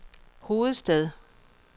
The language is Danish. hovedstad